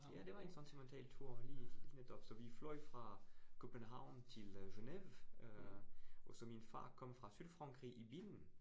Ja det var en sentimental tur, lige netop. Så vi fløj fra København til øh Genève, øh og så min far kom fra Sydfrankrig i bilen